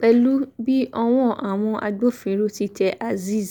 pẹ̀lú bí ọwọ́ àwọn agbófinró ti tẹ azeez